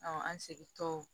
an segintɔ